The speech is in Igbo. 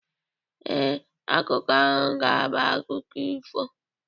Ee, akụkọ ahụ ga-abụ akụkọ ifo